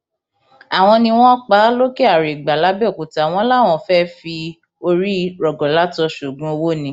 àwọn ni wọn pa á lòkèarègbà làbẹòkúta wọn láwọn fẹẹ fi orí rọgọlátọ sóògùn owó ni